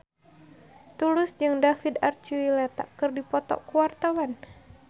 Tulus jeung David Archuletta keur dipoto ku wartawan